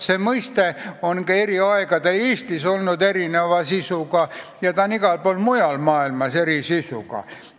See mõiste on ka eri aegade Eestis olnud erineva sisuga ja ta on igal pool mujal maailmas eri sisuga.